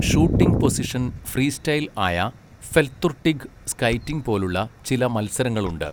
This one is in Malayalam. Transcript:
ഷൂട്ടിംഗ് പൊസിഷൻ ഫ്രീസ്റ്റൈൽ ആയ ഫെൽത്തുർട്ടിഗ് സ്കൈറ്റിംഗ് പോലുള്ള ചില മത്സരങ്ങളുണ്ട്.